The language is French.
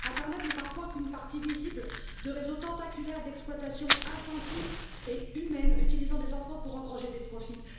Internet n'est parfois qu'une partie visible de réseaux tentaculaires d'exploitation infantile et humaine utilisant des enfants pour engranger des profits.